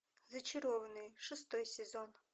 зачарованные шестой сезон